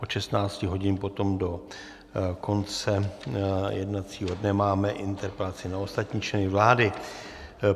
Od 16 hodin potom do konce jednacího dne máme interpelace na ostatní členy vlády.